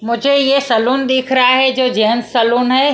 मुझे यह सलोन दिख रहा है जो जेन्ट्स सलोन है।